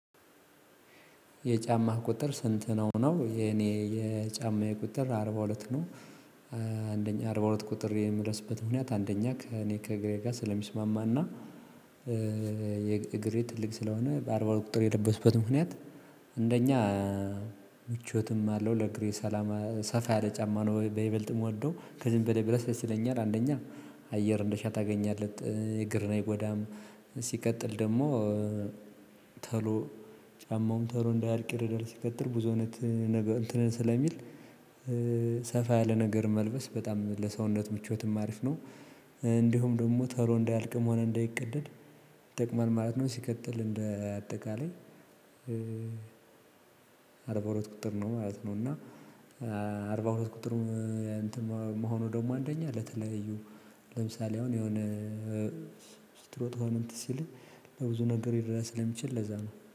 "የጫማህ ቁጥር ስንት ነው?" ነው። የኔ የጫማዬ ቁጥር አርባ ሁለት ነው። አንደኛ አርባ ሁለት ቁጥር የምለብስበት ምክንያት አንደኛ ከኔ ከእግሬ ጋር ስለሚስማማ እና የእግሬ ትልቅ ስለሆነ በአርባ ሁለት ቁጥር የለበስኩበት ምክንያት እንደኛ ምቾትም አለው ለእግሬ ሰላማ ሰፋ ያለ ጫማ ነው በይበልጥ የምወደው ከዚህም በላይ ብለብስ ደስ ይለኛል አንደኛ አየር እንዳሻህ ታገኛለት እግርን አይጎዳም። ሲቀጥል ደግሞ ተሎ ጫማውም ቶሎ እንዳያልቅ ይረዳል ሲቀጥል ብዙ አይነት ነገር እንትን ስለሚል ሰፋ ያለ ነገር መልበስ በጣም ለሰውነት ምቾትም አሪፍ ነው። እንዲሁም ደግሞ ተሎ እንዳያልቅም ሆነ እንዳይቀደድ ይጠቅማል ማለት ነው ሲቀጥል እንደ አጠቃላይ አርባ ሁለት ቁጥር ነው ማለት ነው፤ እና አርባ ሁለት ቁጥር እንትን መሆኑ ደግሞ አንደኛ ለተለያዩ ለምሳሌ አሁን የሆነ ስትሮጥ ሆነ እንትን ሲልህ ለብዙ ነገር ሊረዳ ስለሚችል ለዛ ነው።